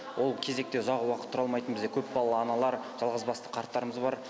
ол кезекте ұзақ уақыт тұра алмайтын бізде көпбалалы аналар жалғызбасты қарттарымыз бар